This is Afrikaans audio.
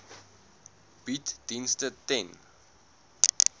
bied dienste ten